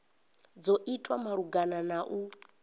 dzo itwa malugana na u